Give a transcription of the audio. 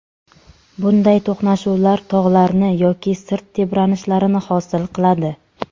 Bunday to‘qnashuvlar tog‘larni yoki sirt tebranishlarini hosil qiladi.